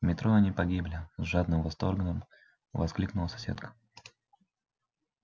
в метро они погибли с жадным восторгом воскликнула соседка